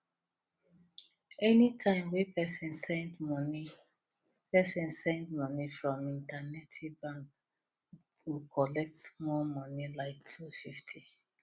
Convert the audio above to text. anytime wey person send wey person send money from internetdi bank go collect small money like two fifty